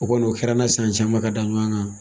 O kɔni o kɛra an na, san caman ka da ɲɔgɔn kan.